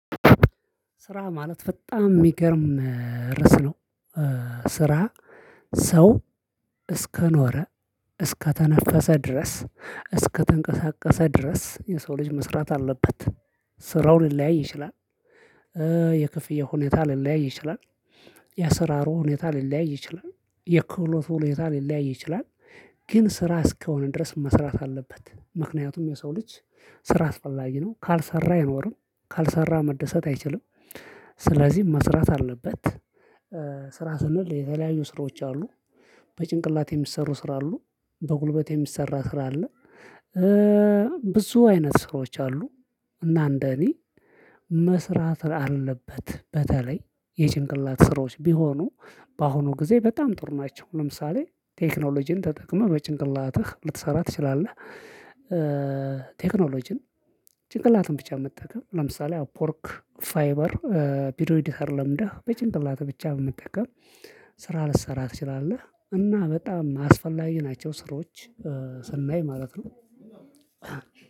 ስራ ማለት በጣም የሚገርም ርዕስ ነው። ስራ ሰው እስከ ኖረ፣ እስከ ተነፈሰ ድረስ፣ እስከ ተንቀሳቀሰ ድረስ፣ የሰው ልጅ መስራት አለበት። ስራው ሊለያይ ይችላል፣ የክፍያ ሁኔታ ሊለያይ ይችላል፣ የአስራሩ ሁኔታ ሊለያይ ይችላል፣ የክህሎቱ ሁኔታ ሊለያይ ይችላል ግን ስራ እስከሆነ ድረስ መስራት አለበት። ምክንያቱም የሰው ልጅ ስራ አስፈላጊ ነው ካልሰራ አይኖርም፣ ካልሰራ መደሰት አይችልም። ስለዚህ መስራት አለበት። ስራ ስንል የተለያዩ ስራዎች አሉ በጭንቅላት የሚሰሩ ስራ አሉ፣ በጉልበት የሚሰራ ስራ አለ ብዙ አይነት ስራዎች አሉ። እና እንደኔ መስራት አለበት በተለይ የጭንቅላት ስሮች ቢሆኑ በአሁኑ ጊዜ በጣም ጥሩ ናቸው ለምሳሌ ቴክኖሎጂን ተጠቅመህ በጭንቅላትህ ልትሰራ ትችላለህ ቴክኖሎጂን ጭንቅላትን ብቻ በመጠቀም ለምሳሌ አፖዎርክ፣ ፋይበር ቢዶ ኤዲተር ለምንደህ በጭንቅላትህ ብቻ በመጠቀም ስራ ልትሰራ ትችላለህ እና በጣም የማስፈላጊ ናቸው ስራዎች ስናይ ማለት ነው።